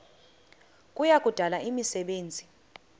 kuya kudala imisebenzi